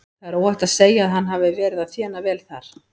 Það er óhætt að segja að hann hafi verið að þéna vel þar.